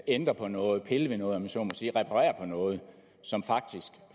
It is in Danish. ændre på noget pille ved noget om jeg så må sige reparere på noget som faktisk